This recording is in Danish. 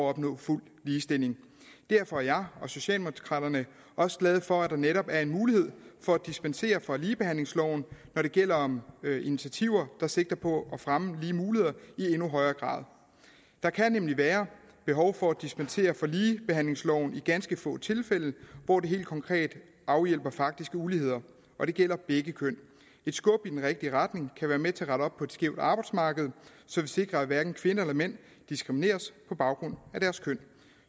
at opnå fuld ligestilling derfor er jeg og socialdemokraterne også glade for at der netop er en mulighed for at dispensere fra ligebehandlingsloven når det gælder om initiativer der sigter på at fremme lige muligheder i endnu højere grad der kan nemlig være behov for at dispensere fra ligebehandlingsloven i ganske få tilfælde hvor det helt konkret afhjælper faktiske uligheder og det gælder begge køn et skub i den rigtige retning kan være med til at rette op på et skævt arbejdsmarked så vi sikrer at hverken kvinder eller mænd diskrimineres på baggrund af deres køn